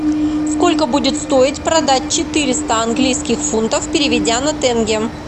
сколько будет стоить продать четыреста английских фунтов переведя на тенге